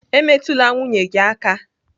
Emetụla nwunye gị aka!